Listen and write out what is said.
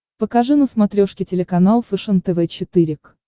покажи на смотрешке телеканал фэшен тв четыре к